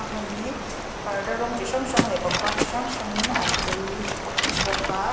a hmun hi parda rawng chi hrang hrang leh pangpar chi hrang hrang in an chei bawk a.